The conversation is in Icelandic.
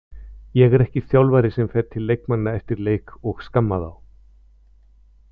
Ég er ekki þjálfari sem fer til leikmanna eftir leik og skamma þá.